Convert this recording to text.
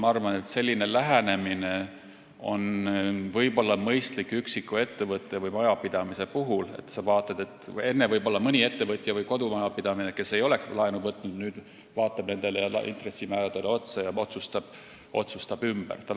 Ma arvan, et selline lähenemine on võib-olla mõistlik üksiku ettevõtte või majapidamise puhul – võib-olla mõni ettevõtja või kodumajapidamine, kes enne ei oleks laenu võtnud, vaatab nüüd intressimääradele otsa ja otsustab ümber.